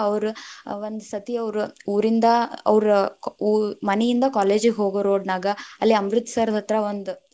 ಅವ್ರ ಒಂದ ಸತಿ ಅವ್ರ ಊರಿಂದ ಅವ್ರ ಮನಿಯಿಂದ college ಗ ಹೋಗೊ road ನಾಗ ಅಲ್ಲಿ ಅಮೃತಸರದತ್ರ ಒಂದ.